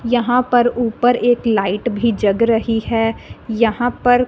यहां पर ऊपर एक लाइट भी जग रही है यहां पर--